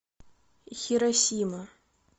хиросима